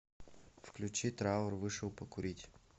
включи траур вышел покурить